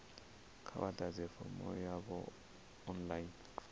kha vha ḓadze fomo yavho online